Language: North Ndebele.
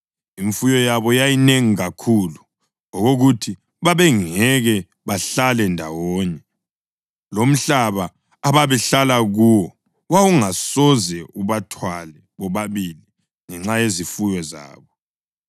Imfuyo yabo yayinengi kakhulu okokuthi babengeke bahlale ndawonye; lomhlaba ababehlala kuwo wawungasoze ubathwale bobabili ngenxa yezifuyo zabo.